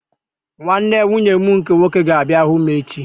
Nwanne nwunye m nke nwoke ga-abịa hụ m echi